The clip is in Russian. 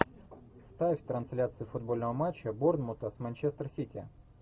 ставь трансляцию футбольного матча борнмута с манчестер сити